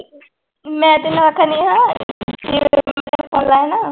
ਮੈਂ ਤੈਨੂੰ ਆਖਦੀ ਹਾਂ ਨਾ